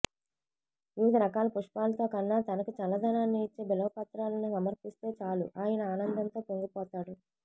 వివిధరకాల పుష్పాలతోకన్నా తనకి చల్లదనాన్ని ఇచ్చే బిల్వపత్రాలను సమర్పిస్తేచాలు ఆయన ఆనందంతో పొంగిపోతాడు